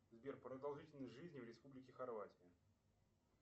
сбер продолжительность жизни в республике хорватия